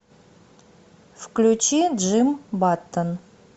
включи джим баттон